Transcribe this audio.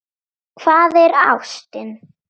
Hvað er ástin?